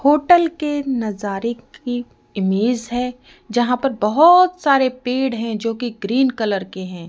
Hotel के नजारे की इमेज है जहां पर बहुत सारे पेड़ हैं जो कि ग्रीन कलर के हैं।